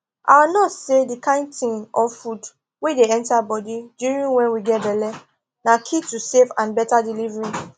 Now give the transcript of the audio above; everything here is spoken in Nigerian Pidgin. our nurse say the kind thing or food wey dey enter body during wen we get belle na key to safe and better delivery